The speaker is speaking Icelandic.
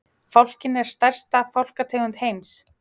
Fálkinn er stærsta fálkategund heims.